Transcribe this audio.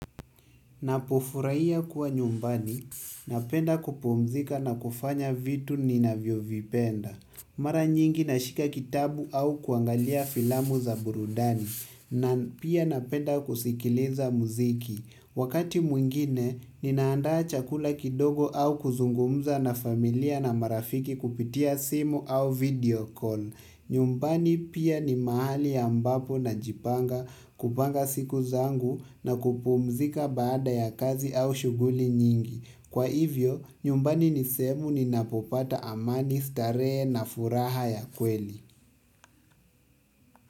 Napofurahiya kuwa nyumbani, napenda kupumzika na kufanya vitu ninavyovipenda. Mara nyingi nashika kitabu au kuangalia filamu za burudani. Na pia napenda kusikiliza muziki. Wakati mwingine, ninaandaa chakula kidogo au kuzungumza na familia na marafiki kupitia simu au video call. Nyumbani pia ni mahali ambapo najipanga kupanga siku zangu na kupumzika baada ya kazi au shughuli nyingi. Kwa hivyo, nyumbani ni sehemu ninapopata amani starehe na furaha ya kweli.